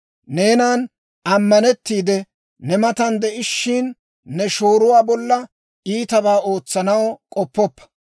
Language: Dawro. Neenan ammanettiide, ne matan de'ishiina, ne shooruwaa bolla iitabaa ootsanaw k'oppoppa.